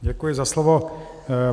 Děkuji za slovo.